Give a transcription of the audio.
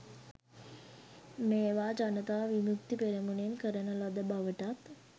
මේවා ජනතා විමුක්ති පෙරමුණෙන් කරන ලද බවටත්